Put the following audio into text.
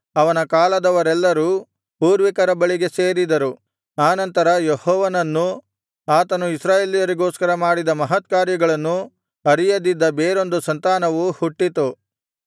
ಅವನ ಕಾಲದವರೆಲ್ಲರೂ ಪೂರ್ವಿಕರ ಬಳಿಗೆ ಸೇರಿದರು ಆನಂತರ ಯೆಹೋವನನ್ನೂ ಆತನು ಇಸ್ರಾಯೇಲರಿಗೋಸ್ಕರ ಮಾಡಿದ ಮಹತ್ಕಾರ್ಯಗಳನ್ನೂ ಅರಿಯದಿದ್ದ ಬೇರೊಂದು ಸಂತಾನವು ಹುಟ್ಟಿತು